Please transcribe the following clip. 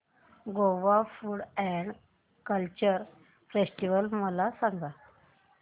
Goa food and culture festival मला सांगा